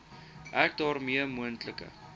ek daarmee moontlike